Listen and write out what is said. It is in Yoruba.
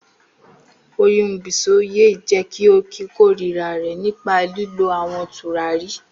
Oyun Bisoye jẹ ki o korira rẹ nipa lilo awọn turari.